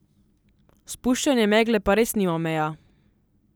Spuščanje megle pa res nima meja.